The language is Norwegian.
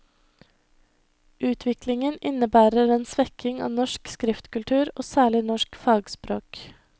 Utviklingen innebærer en svekking av norsk skriftkultur og særlig norsk fagspråk.